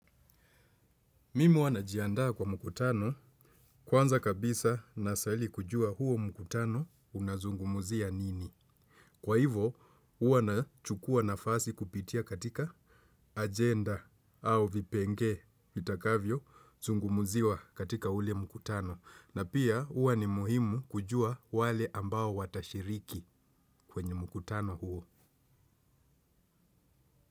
Mimi uanajiandaa kwa mkutano kwanza kabisa nasali kujua huo mkutano unazungumuzia nini. Kwa hivo uwa na chukua nafasi kupitia katika agenda au vipenge vitakavyo zungumuziwa katika hule mkutano. Na pia ua ni muhimu kujua wale ambao watashiriki kwenye mkutano huo.